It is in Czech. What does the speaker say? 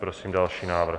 Prosím další návrh.